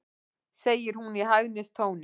segir hún í hæðnistón.